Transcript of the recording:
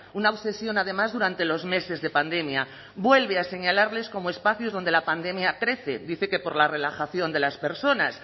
una obsesión además durante los meses de pandemia vuelve a señalar como espacios donde la pandemia crece dice que por la relajación de las personas